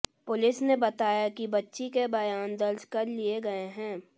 police ने बताया कि बच्ची के बयान दर्ज कर लिए गए हैं